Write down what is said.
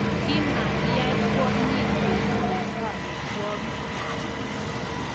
Kimakiyai kwonyiik kekuree kametwagik kityo